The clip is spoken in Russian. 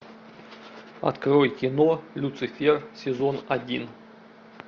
открой кино люцифер сезон один